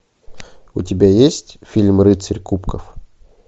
у тебя есть фильм рыцарь кубков